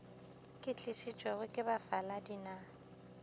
di tlišitšwego ke bafaladi na